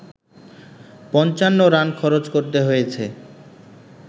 ৫৫ run খরচ করতে হয়েছে